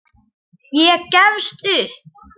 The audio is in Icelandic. Ég gefst upp.